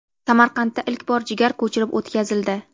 Samarqandda ilk bor jigar ko‘chirib o‘tkazildi.